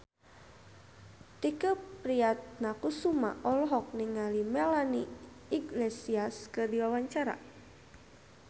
Tike Priatnakusuma olohok ningali Melanie Iglesias keur diwawancara